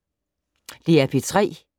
DR P3